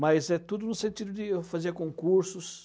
Mas é tudo no sentido de fazer concursos,